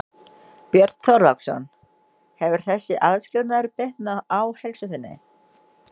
Björn Þorláksson: Hefur þessi aðskilnaður bitnað á heilsu þinni?